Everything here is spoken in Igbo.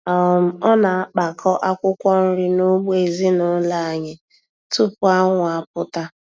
um Ọ na-akpakọ akwụkwọ nri n'ugbo ezinụlọ anyị tupu anwụ apụta.